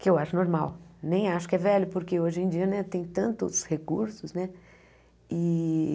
que eu acho normal, nem acho que é velho, porque hoje em dia né tem tantos recursos e.